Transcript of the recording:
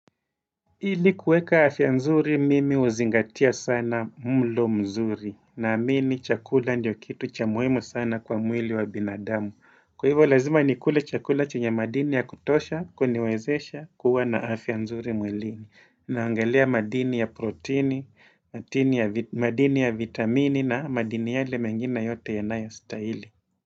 Ili kuweka afya nzuri mimi huzingatia sana mlo mzuri na amini chakula ndio kitu cha muhimu sana kwa mwili wa binadamu. Kwa hivyo lazima nikule chakula chenye madini ya kutosha kuniwezesha kuwa na afya nzuri mwilini. Naangalia madini ya proteini, madini ya vitamini na madini yale mengine yote yanayo stahili.